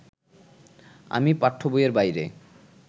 আমি পাঠ্যবইয়ের বাইরে